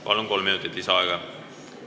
Palun, kolm minutit lisaaega!